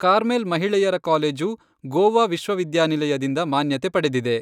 Carmel ಮಹಿಳೆಯರ college Goa ವಿಶ್ವವಿದ್ಯಾನಿಲಯದಿಂದ ಮಾನ್ಯತೆ ಪಡೆದಿದೆ.